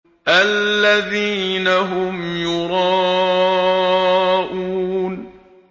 الَّذِينَ هُمْ يُرَاءُونَ